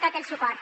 tot el suport